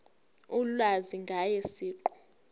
ulwazi ngaye siqu